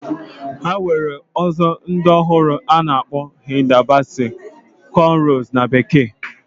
Enwere ozo di ohuru ana akpo Hilda Baci Conrows na bekee.